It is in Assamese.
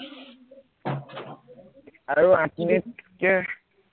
আৰু আঠ মিনিট কে